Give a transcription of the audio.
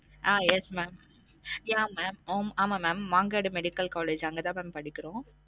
ஆஹ் yes mam yeah mam ஆம் ஆமா mam Mangadu medical college அங்க தா mam படிக்குறோம்